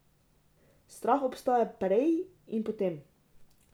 Strah obstaja prej in potem.